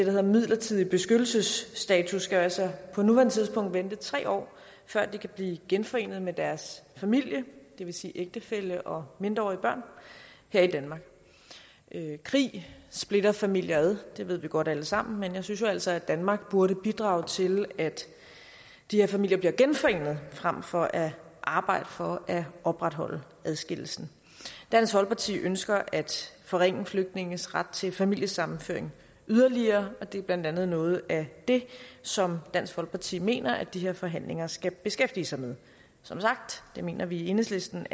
hedder midlertidig beskyttelsesstatus skal jo altså på nuværende tidspunkt vente tre år før de kan blive genforenet med deres familie det vil sige ægtefælle og mindreårige børn her i danmark krig splitter familier ad det ved vi godt alle sammen men jeg synes jo altså at danmark burde bidrage til at de her familier bliver genforenet frem for at arbejde for at opretholde adskillelsen dansk folkeparti ønsker at forringe flygtninges ret til familiesammenføring yderligere og det er blandt andet noget af det som dansk folkeparti mener at de her forhandlinger skal beskæftige sig med som sagt mener vi i enhedslisten